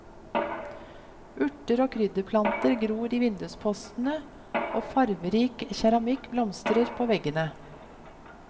Urter og krydderplanter gror i vinduspostene og farverik keramikk blomstrer på veggene.